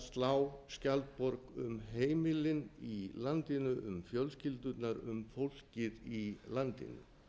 slá skjaldborg um heimilin í landinu um fjölskyldurnar um fólkið í landinu